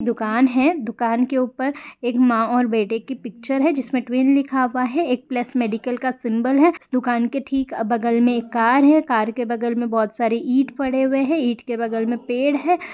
दुकान है दुकान के ऊपर एक माँ और बेटे की पिक्चर है जिसमे ट्विन लिखा हुआ है एक प्लस मेडिकल का सिंबल है इस दुकान के ठीक बगल में एक कार है कार के बगल में बहुत सरे इट पड़े हुए है इट के बगल में पेड़ है।